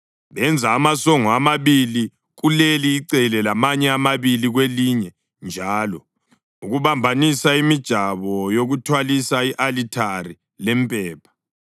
Benza amasongo amabili kuleli icele lamanye amabili kwelinye njalo ukubambanisa imijabo yokuthwalisa i-alithari lempepha.